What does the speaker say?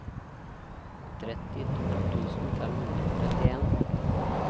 trettito tusen fem hundre og trettien